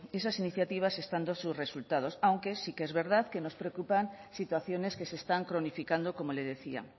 esas iniciativas están dando sus resultados aunque sí que es verdad que nos preocupan situaciones que se están cronificando como le decía